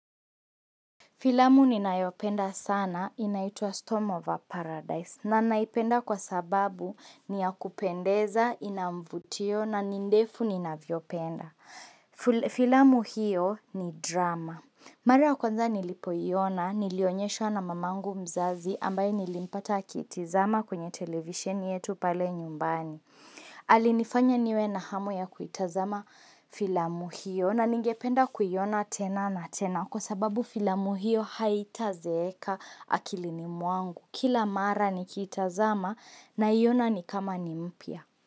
Filamu ni nayopenda sana inaitua Storm of Paradise na naipenda kwa sababu ni ya kupendeza, inamvutio na nindefu ni naviopenda. Filamu hiyo ni drama. Mara ya kwanza nilipoiona, nilionyesho na mamangu mzazi ambaye nilimpata kitizama kwenye television yetu pale nyumbani. Alinifanya niwe na hamu ya kuitazama filamu hio na ningependa kuyiona tena na tena kwa sababu filamu hio haitazeeka akilini mwangu. Kila mara ni kuitazama naiona ni kama ni mpya.